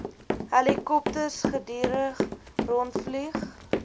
helikopters gedurig rondvlieg